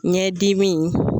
Ɲɛ dimi